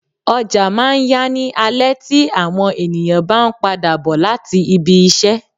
Ọjà máa ń ya ní alẹ tí àwọn ènìyàn bá ń padà bò láti ibi-isẹ.